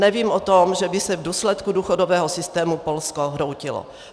Nevím o tom, že by se v důsledku důchodového systému Polsko hroutilo.